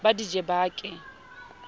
ba di je ba ke